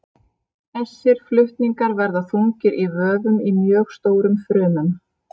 Þessir flutningar verða þungir í vöfum í mjög stórum frumum.